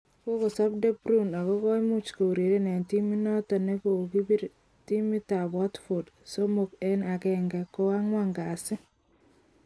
Kokosap De Bruyne ako koimuch koureren eng' timit notok nekopir timitap watfordsomok eng' agenge ko ang' wan kasi